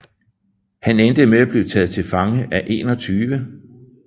Han endte med at blive taget til fange af 21